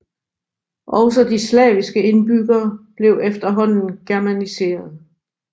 Også de slaviske indbyggere blev efterhånden germaniserede